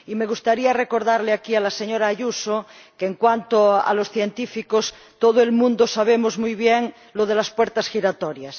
Y me gustaría recordarle aquí a la señora Ayuso que, en cuanto a los científicos, todo el mundo sabe muy bien lo de las puertas giratorias.